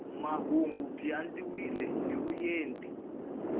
mahungu byi andlariwile hi vuenti